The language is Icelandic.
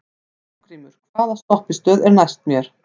Álfgrímur, hvaða stoppistöð er næst mér?